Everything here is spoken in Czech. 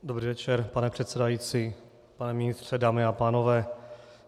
Dobrý večer, pane předsedající, pane ministře, dámy a pánové.